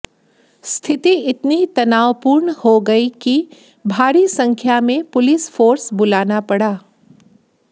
स्थिति इतनी तनावपूर्ण हो गई कि भारी संख्या में पुलिस फोर्स बुलाना पड़ा